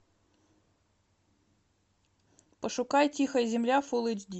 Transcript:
пошукай тихая земля фулл эйч ди